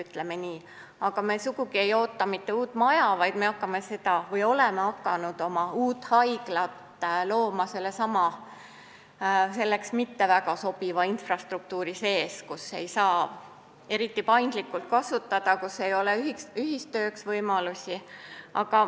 Me ei oota aga sugugi mitte uut maja, vaid me oleme hakanud looma oma uut haiglat sellesama mitte väga sobiva infrastruktuuri sees, kus ei ole eriti paindlikke ühistöö võimalusi.